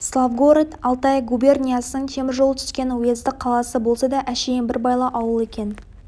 славгород алтай губерниясының темір жол түскен уездік қаласы болса да әшейін бір байлау ауыл екен